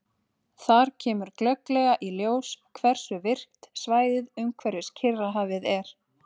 Þar kemur glögglega í ljós hversu virkt svæðið umhverfis Kyrrahafið er.